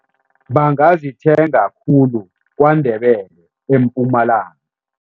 Bangazithenga khulu KwaNdebele eMpumalanga.